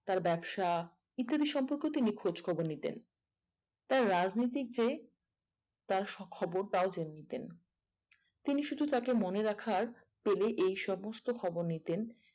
তার ব্যবসা ইত্যাদি সম্পর্কে তিনি খোঁজ খবর নিতেন তার রাজনীতিক যে তার সব খবর তও জেনে নিতেন তিনি শুধু তাকে মনে রাখার পেলেই এই সমস্ত খবর নিতেন